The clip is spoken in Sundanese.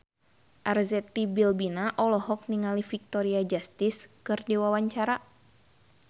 Arzetti Bilbina olohok ningali Victoria Justice keur diwawancara